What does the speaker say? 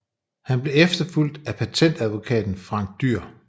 Han blev efterfulgt af patentadvokaten Frank Dyer